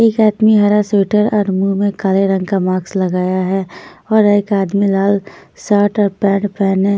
एक आदमी हरा स्वेटर और मुँह में काले रंग का मास्क लगाया है और एक आदमी लाल शर्ट और पैंट पहने --